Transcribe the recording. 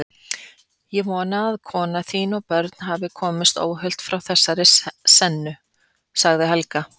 Ég vona að kona þín og börn hafi komist óhult frá þessari sennu, sagði Helga.